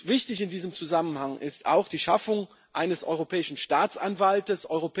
Wichtig in diesem Zusammenhang ist auch die Schaffung eines Europäischen Staatsanwaltes.